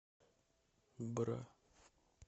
бра